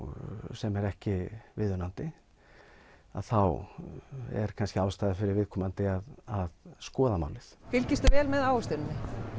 sem er ekki viðunandi að þá er kannski ástæða fyrir viðkomandi að skoða málið fylgistu vel með ávöxtuninni